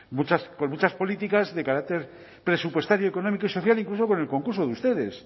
con muchas políticas de carácter presupuestario económico y social incluso con el concurso de ustedes